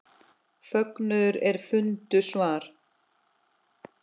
Fögnuðu er fundu svar.